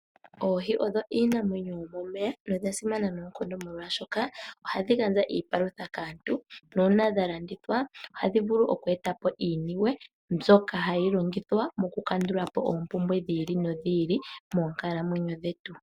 Oohi odho iinamwenyo yomomeya nodha simana noonkondo molwashoka ohadhi gandja iipalutha kaantu. Nuuna dha landithwa ohadhi vulu oku eta po iiniwe mbyoka hayi longithwa ku kandula po oombumbwe dhi ili nodhi ili moonkalamwenyo dhetu.